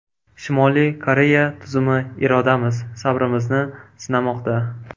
Shimoliy Koreya tuzumi irodamiz, sabrimizni sinamoqda.